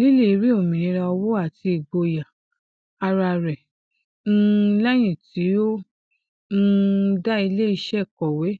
lily rí òmìnira owó àti igboyà ara rẹ um lẹyìn tí ó um dá iléiṣẹ kọwé